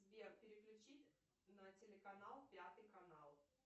сбер переключи на телеканал пятый канал